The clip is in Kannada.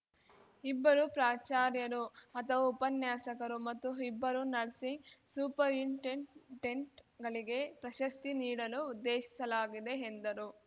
ಇಬ್ಬರು ಪ್ರಾಚಾರ್ಯರು ಅಥವಾ ಉಪನ್ಯಾಸಕರು ಮತ್ತು ಇಬ್ಬರು ನರ್ಸಿಂಗ್‌ ಸೂಪರಿಂಟೆಂಟೆಂಟ್‌ಗಳಿಗೆ ಪ್ರಶಸ್ತಿ ನೀಡಲು ಉದ್ದೇಶಿಸಲಾಗಿದೆ ಎಂದರು